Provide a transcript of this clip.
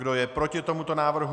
Kdo je proti tomuto návrhu?